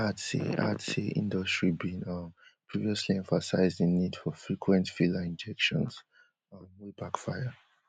add say add say industry bin um previously emphasise di need for frequent filler injections um wey backfire